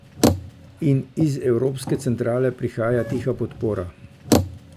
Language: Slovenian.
In iz evropske centrale prihaja tiha podpora.